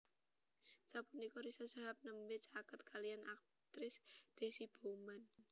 Sapunika Riza Shahab nembé caket kaliyan aktris Deasy Bouman